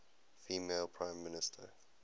female prime minister